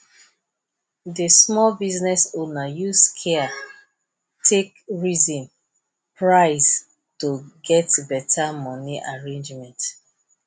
di small business owner use care take reason price to get beta money arrangement